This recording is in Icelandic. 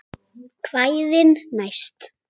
Kvæðin næst?